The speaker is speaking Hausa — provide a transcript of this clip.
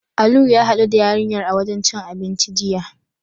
Alu ya haɗu da yarinyar a wajen cin abinci, jiya.